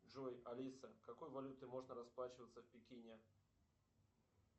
джой алиса какой валютой можно расплачиваться в пекине